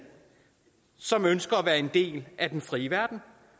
som ønsker at være en del af den frie verden